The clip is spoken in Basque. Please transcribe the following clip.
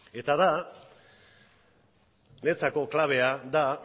eta niretzako klabea da